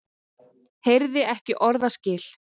Heyrir ekki orðaskil.